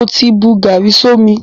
Mo ti bu gàárì sómi.